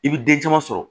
I bi den caman sɔrɔ